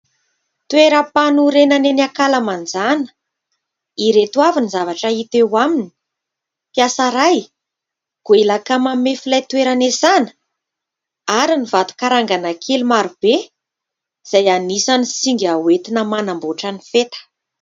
Toeram-panorenana eny ankalamanjana. Ireto avy ny zavatra hita eo aminy : mpiasa iray, goelaka mamefy ilay toerana hiasana ary ny vato karangana kely maro be izay anisan'ny singa ho entina manamboatra ny feta.